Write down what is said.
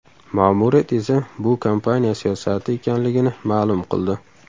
Ma’muriyat esa bu kompaniya siyosati ekanligini ma’lum qildi.